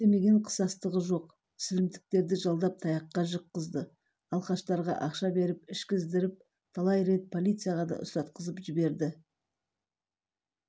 істемеген қысастығы жоқ сілімтіктерді жалдап таяққа жыққызды алкаштарға ақша беріп ішкіздіртіп талай рет полицияға да ұстатқызып жіберді